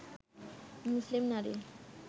মুসলিম নারী